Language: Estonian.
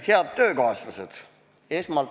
Head töökaaslased!